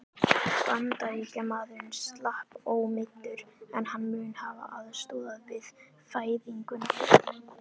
Bandaríkjamaðurinn slapp ómeiddur, en hann mun hafa aðstoðað við fæðinguna.